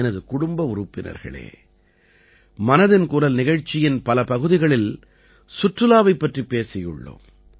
எனது குடும்ப உறுப்பினர்களே மனதின் குரல் நிகழ்ச்சியின் பல பகுதிகளில் சுற்றுலாவைப் பற்றி பேசியுள்ளோம்